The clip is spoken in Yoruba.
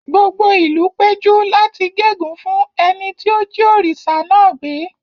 Gbogbo ìlú péjú láti gégùn ún fún ẹni tí ó jí òrìṣà náà gbé.